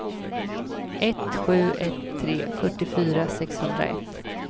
ett sju ett tre fyrtiofyra sexhundraett